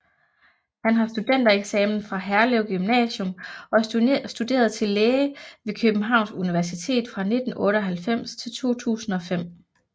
Han har studentereksamen fra Herlev Gymnasium og studerede til læge ved Københavns Universitet fra 1998 til 2005